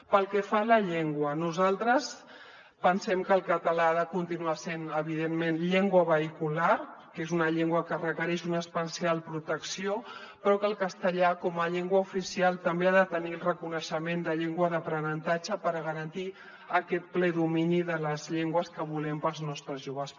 pel que fa a la llengua nosaltres pensem que el català ha de continuar sent evidentment llengua vehicular que és una llengua que requereix una especial protecció però que el castellà com a llengua oficial també ha de tenir el reconeixement de llengua d’aprenentatge per garantir aquest ple domini de les llengües que volem per als nostres joves